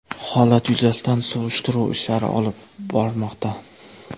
Holat yuzasidan surishtiruv ishlari olib bormoqda.